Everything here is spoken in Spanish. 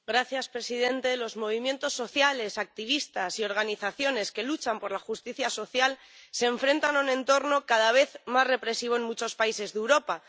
Señor presidente, los movimientos sociales, activistas y organizaciones que luchan por la justicia social se enfrentan a un entorno cada vez más represivo en muchos países de Europa.